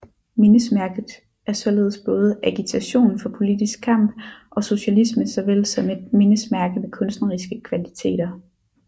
Mindesmærket er således både agitation for politisk kamp og socialisme såvel som et mindesmærke med kunstneriske kvaliteter